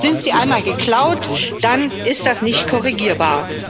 Sind sie einmal geklaut, dann ist das nicht korrigierbar.